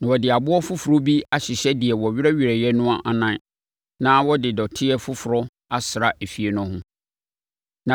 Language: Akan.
Na wɔde aboɔ foforɔ bi abɛhyɛ deɛ wɔwerɛwerɛeɛ no anan na wɔde dɔteɛ foforɔ asra efie no ho.